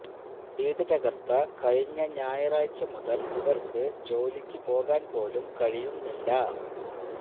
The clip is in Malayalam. വീട് തകര്ത്ത കഴിഞ്ഞ ഞായറാഴ്ച മുതല് ഇവര്ക്ക് ജോലിക്ക് പോകാന് പോലും കഴിയുന്നില്ല